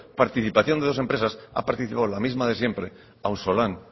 participación de dos empresas ha participado la misma de siempre auzolan